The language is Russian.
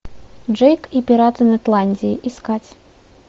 джейк и пираты нетландии искать